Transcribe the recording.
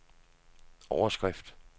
overskrift